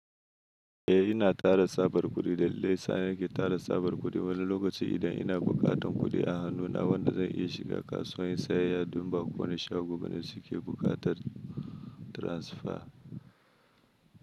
Eh ina tara tsabar kuɗi dalilin daya sa nake tara tsabar kuɗi wani lokaci idan ina buƙatan kuɗi a hannuna wanda zan iya shiga kasuwa inyi sayayya domin ba kowane shago bane suke buƙatar tiransfa.